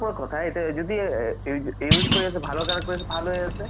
কথা যদি use কৰি আছে ভালৰ কাৰণে কৰি আছে ভাল হয় আছে